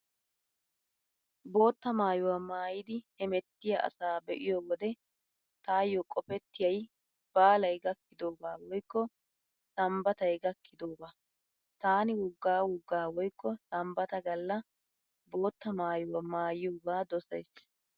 Bootta maayuwaa maayidi hemettiyaa asaa be'iyo wode taayyo qopettiyay baalay gakkidoogaa woykko sanbbatay gakkidoogaa. Taani woggaa woggaa woykko sanbbata Galla bootta maayuwaa maayiyoogaa dosays.